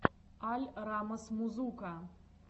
аль раммас музука